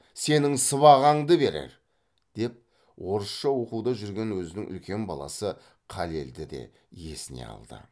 сенің сыбағаңды берер деп орысша оқуда жүрген өзінің үлкен баласы қалелді де есіне алды